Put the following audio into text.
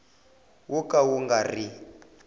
wo ka wu nga ri